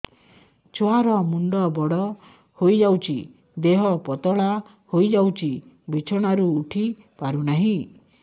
ଛୁଆ ର ମୁଣ୍ଡ ବଡ ହୋଇଯାଉଛି ଦେହ ପତଳା ହୋଇଯାଉଛି ବିଛଣାରୁ ଉଠି ପାରୁନାହିଁ